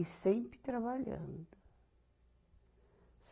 E sempre trabalhando.